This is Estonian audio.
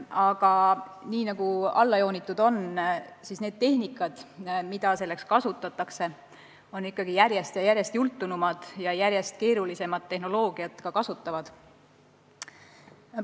Aga nagu alla joonitud on: tehnikad, mida selleks kasutatakse, on järjest jultunumad ja järjest keerulisemat tehnoloogiat kasutavad.